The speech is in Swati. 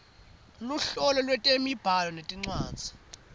luhlobo lwetemibhalo nencwadzi